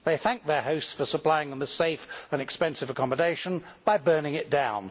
They thanked their hosts for supplying them with safe and expensive accommodation by burning it down.